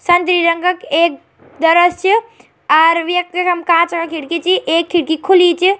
संतरी रंगा क एक दरज च और वेक जगह म कांच क खिड़की छी एक खिड़की खुली च।